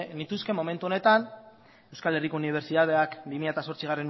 nituzke momentu honetan euskal herriko unibertsitateak bi mila zortzigarrena